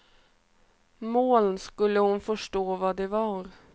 Moln skulle hon förstå vad det var.